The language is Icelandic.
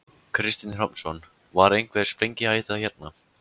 Kristinn Hrafnsson: Var einhver sprengihætta hérna?